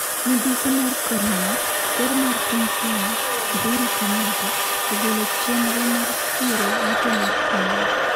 Midhusi mar Korona: Ker mar piny Kenya, Uhuru Kenyatta, ogolo chenro mar chiero yuto mar pinywa